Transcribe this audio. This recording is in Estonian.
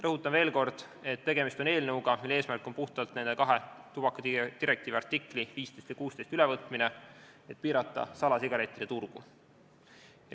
Rõhutan veel kord, et tegemist on eelnõuga, mille eesmärk on puhtalt tubakadirektiivi artiklite 15 ja 16 ülevõtmine, et piirata salasigarettide turgu.